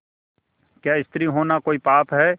क्या स्त्री होना कोई पाप है